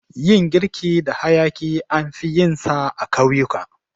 Yin girki da hayaƙi anfi yinsa a ƙauyuka.